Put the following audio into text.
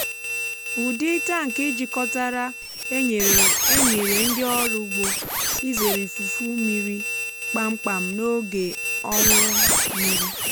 ụdị tankị jikọtara enyere enyere ndị ọrụ ugbo izere ifufu mmiri kpamkpam n’oge ọnwụ mmiri.